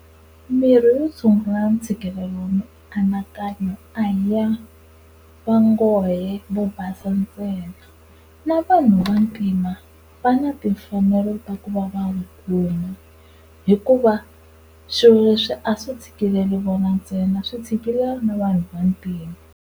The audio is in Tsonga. Mirhi yo tshungula ntshikelelo wa mianakanyo a hi ya va ngohe vo basa ntsena na vanhu Vantima va na timfanelo ta ku va va kuma hikuva swilo leswi a swi tshikileli vona ntsena swi tshikilela na vanhu va ntima.